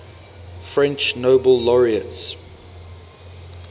french nobel laureates